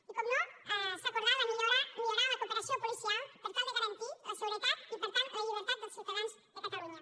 i com no s’ha acordat millorar la cooperació policial per tal de garantir la seguretat i per tant la llibertat dels ciutadans de catalunya